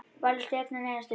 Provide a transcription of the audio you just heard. Valur og Stjarnan eigast við.